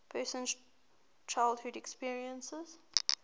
person's childhood experiences